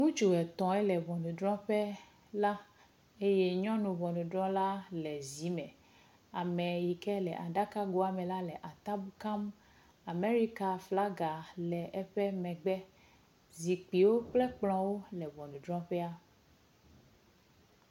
Ŋutsu etɔ̃ yele ŋɔnudrɔƒe la eye nyɔnu ŋɔnudrɔla le zi me, ame yi ke le aɖaka goa me la le atam kam. Amerika flaga le eƒe megbe. Zikpuiwo kple kplɔ̃wo le ŋɔnudrɔƒea.